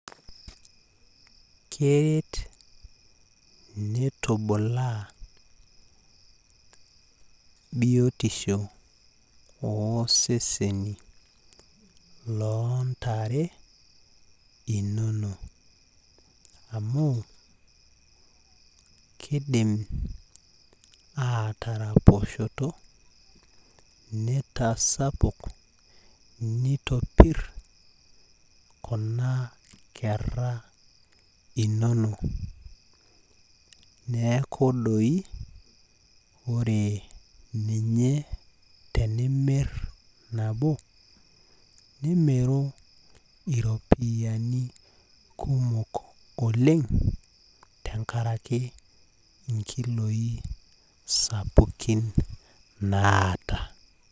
Keret nitubulaa biotisho oseseni loo ntare inonok. amu kidim ataraposhoto, nitasapuk, nitopir kuna kera inonok neeku doi ore ninye tenimir nabo , nimiru iropiyiani kumok oleng tenkaraki inkiloi sapukin naata .